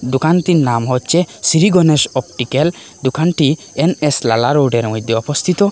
দোকানটির নাম হচ্ছে শ্রী গনেশ অপটিক্যাল দোকানটি এন_এস লালা রোডের মধ্যে অবস্থিত।